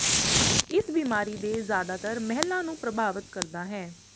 ਇਸ ਬਿਮਾਰੀ ਦੇ ਜ਼ਿਆਦਾਤਰ ਮਹਿਲਾ ਨੂੰ ਪ੍ਰਭਾਵਿਤ ਕਰਦਾ ਹੈ